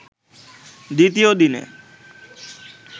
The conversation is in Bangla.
দ্বিতীয় দিনে